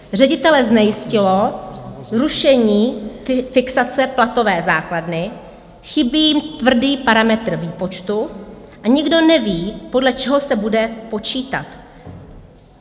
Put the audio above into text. Ředitele znejistilo zrušení fixace platové základny, chybí jim tvrdý parametr výpočtu a nikdo neví, podle čeho se bude počítat.